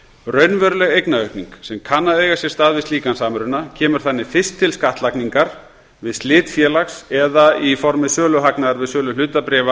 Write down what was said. raunveruleg eignaaukning sem kann að eiga sér stað við slíkan samruna kemur þannig fyrst til skattlagningar við slit félags eða í formi söluhagnaðar við sölu hlutabréfa